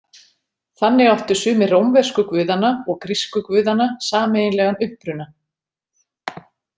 Þannig áttu sumir rómversku guðanna og grísku guðanna sameiginlegan uppruna.